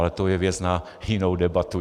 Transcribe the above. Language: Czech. Ale to je věc na jinou debatu.